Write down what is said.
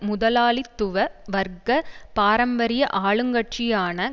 முதலாளித்துவ வர்க்க பாரம்பரிய ஆளுங்கட்சியான